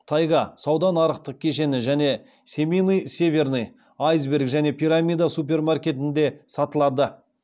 тайга сауда нарықтық кешені және семейный северный айсберг және пирамида супермаркетінде сатылады